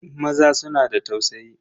Maza suna da tausayi.